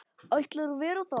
Ætlar að vera þar.